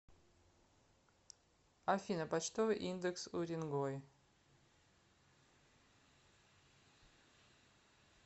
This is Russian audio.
афина почтовый индекс уренгой